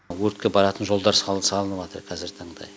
өртке баратын жолдар салыныватыр қазіргі таңда